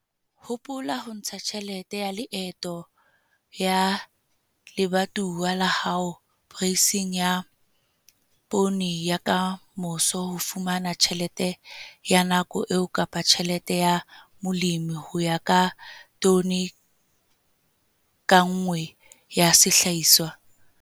Hopola ho ntsha tjhelete ya leeto ya lebatowa la hao poreising ya poone ya ka moso ho fumana tjhelete ya nako eo kapa tjhelete ya molemi ho ya ka tone ka nngwe ya sehlahiswa.